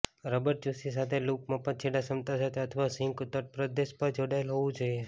rubber ચૂસી સાથે loop મફત છેડા ક્ષમતા સાથે અથવા સિંક તટપ્રદેશ પર જોડાયેલ હોવું જોઈએ